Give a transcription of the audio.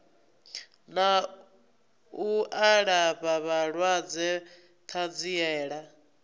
na u alafha vhalwadze ṱanziela